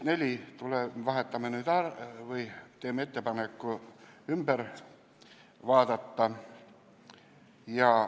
Nüüd teeme ettepaneku neist neli välja vahetada.